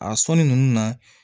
A sɔnni ninnu na